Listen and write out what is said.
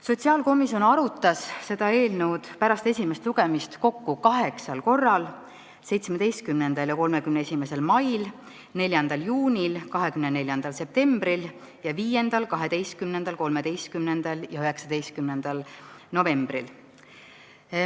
Sotsiaalkomisjon arutas seda eelnõu pärast esimest lugemist kokku kaheksal korral: 17. ja 31. mail, 4. juunil, 24. septembril ning 5., 12., 13. ja 19. novembril.